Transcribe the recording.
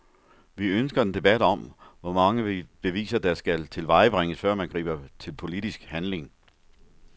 Vi ønsker en debat om, hvor mange beviser der skal tilvejebringes, før man griber til politisk handling.